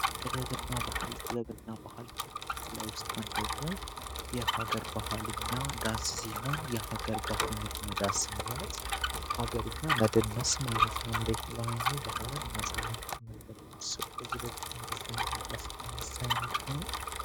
ጥደብና ባሃል ጥደብና ባሃል ከበድለ ውስጥ አንደኘው የሃገር ባሃልኛ ዳንስ ሲሆን የሃገር ባሃልኛ ዳስ ማለት በሀገርኛ መድነስ ማነት ነው ለትደባኙ ባህልን ማሳወንቂያ መንገድ ነርስው ከዚህበፊትም ብዛይንም ዳስድንሳሆንነው